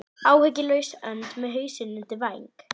Áhyggjulaus önd með hausinn undir væng.